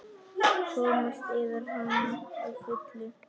Komast yfir hana að fullu?